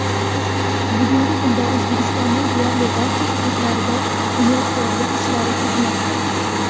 Bugungi kunda O‘zbekistonning deyarli barcha hududlarida bunyodkorlik ishlari ketmoqda.